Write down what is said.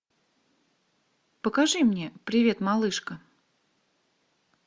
покажи мне привет малышка